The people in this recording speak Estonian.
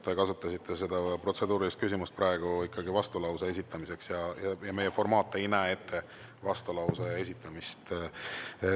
Te kasutasite seda protseduurilist küsimust praegu ikkagi vastulause esitamiseks ja meie formaat ei näe ette vastulause esitamist.